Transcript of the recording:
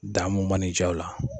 Damu mana i ja o la